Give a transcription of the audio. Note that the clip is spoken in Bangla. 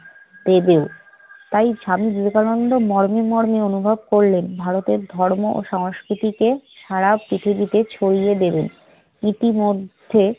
দেবেও। তাই স্বামী বিবেকানন্দ মর্মে মর্মে অনুভব করলেন ভারতের ধর্ম ও সংস্কৃতিকে সারা পৃথিবীতে ছড়িয়ে দেবেন। ইতিমধ্যে